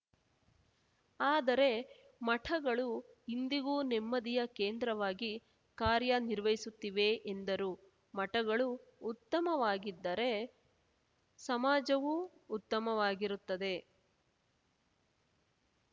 ಆದರೆ ಮಠಗಳು ಇಂದಿಗೂ ನೆಮ್ಮದಿಯ ಕೇಂದ್ರವಾಗಿ ಕಾರ್ಯನಿರ್ವಹಿಸುತ್ತಿವೆ ಎಂದರು ಮಠಗಳು ಉತ್ತಮವಾಗಿದ್ದರೆ ಸಮಾಜವೂ ಉತ್ತಮವಾಗಿರುತ್ತದೆ